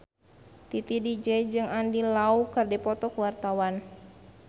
Titi DJ jeung Andy Lau keur dipoto ku wartawan